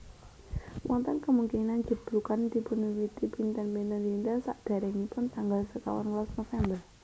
Wonten kemungkinan jeblugan dipunwiwiti pinten pinten dinten sadéréngipun tanggal sekawan welas November